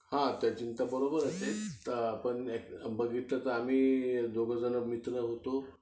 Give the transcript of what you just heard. तसं तुझी चिंता बरोबर आहे पण तसं बघितलं तर आम्ही दोघेजण मित्र होतो